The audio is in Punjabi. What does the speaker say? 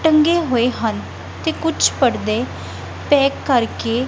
ਟੰਗੇ ਹੋਏ ਹਨ ਤੇ ਕੁਝ ਪਰਦੇ ਪੈਕ ਕਰਕੇ--